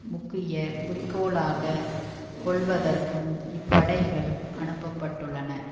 முக்கிய குறிக்கோளாக கொள்வதற்கும் இப்படைகள் அனுப்ப பட்டுள்ளன